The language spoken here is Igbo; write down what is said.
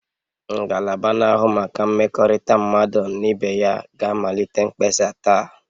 Ngalaba na-ahụ maka mmekọrịta mmadụ na ibe ya ga-amalite mkpesa taa